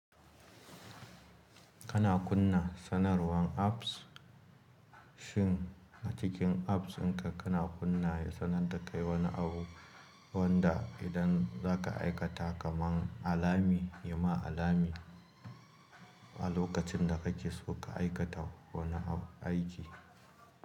Kana kunna sanarwan apps shin a cikin apps in ka kana kunna ya sananta kai wani abu wanda idan za ka aikata kamar alami, yayi ma alami a lokacin da kake so ka aikata wani aiki.